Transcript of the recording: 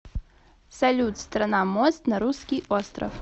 салют страна мост на русский остров